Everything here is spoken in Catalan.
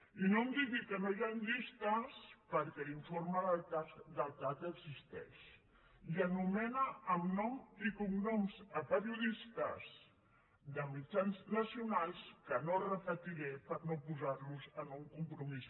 i no em digui que no hi han llistes perquè l’informe del cac existeix i anomena amb nom i cognoms pe·riodistes de mitjans nacionals que no repetiré per no posar·los en un compromís